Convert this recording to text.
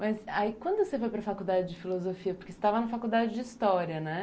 Mas aí, quando você foi para a faculdade de filosofia, porque você estava na faculdade de história, né?